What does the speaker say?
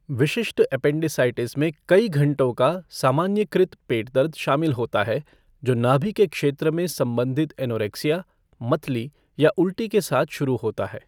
विशिष्ट एपेंडिसाइटिस में कई घंटों का सामान्यीकृत पेट दर्द शामिल होता है जो नाभि के क्षेत्र में संबंधित एनोरेक्सिया, मतली या उल्टी के साथ शुरू होता है।